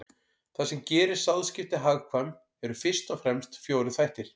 Það sem gerir sáðskipti hagkvæm eru fyrst og fremst fjórir þættir.